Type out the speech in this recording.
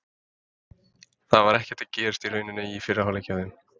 Það var ekkert að gerast í rauninni í fyrri hálfleik hjá þeim.